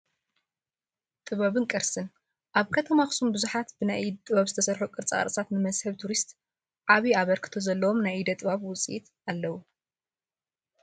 ጥበብን ቅርስን፡- ኣብ ከተማ ኣክሱም ብዙሓት ብናይ ኢድ ጥበብ ዝተሰርሑ ቅርፃቅርፂታት ንመስሕብ ቱሪስት ዓብይ ኣበርክቶ ዘለዎም ናይ ኢደ ጥበብ ውፅኢት ኣለው፡፡